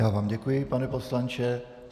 Já vám děkuji, pane poslanče.